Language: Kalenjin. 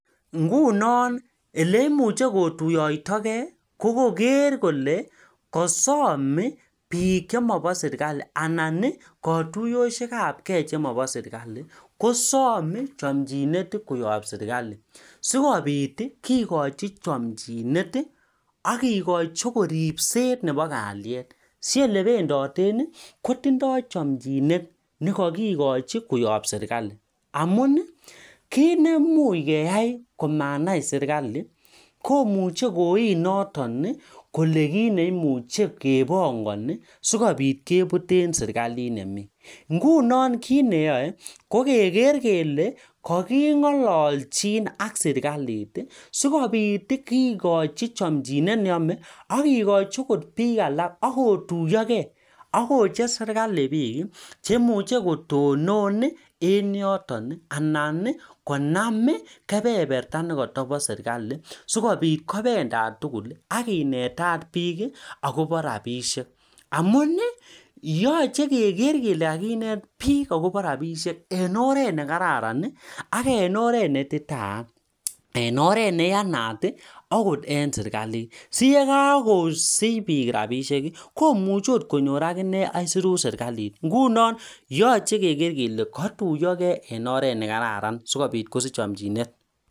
Ngunoo oleimuchi kotuyotakei kokoker kolee kasam bik chemoboo serkali kosom chamchindet sikikochii ribset neboo kalyet